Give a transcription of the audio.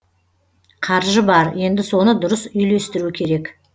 қаржы бар енді соны дұрыс үйлестіру керек